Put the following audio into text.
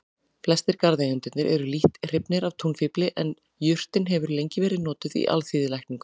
Flestir garðeigendur eru lítt hrifnir af túnfífli en jurtin hefur lengi verið notuð í alþýðulækningum.